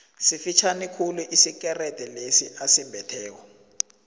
sifitjhani khulu isikerede lesi asimbetheko